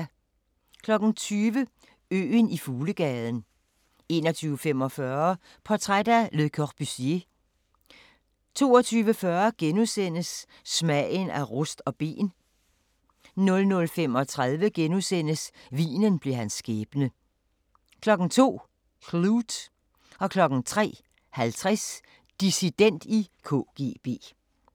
20:00: Øen i Fuglegaden 21:45: Portræt af Le Corbusier 22:40: Smagen af rust of ben * 00:35: Vinen blev hans skæbne * 02:00: Klute 03:50: Dissident i KGB